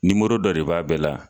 Nimoro dɔ de b'a bɛɛ la